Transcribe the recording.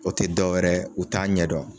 O tɛ dɔwɛrɛ ye u t'a ɲɛdɔn.